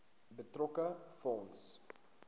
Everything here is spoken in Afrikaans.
betrokke fonds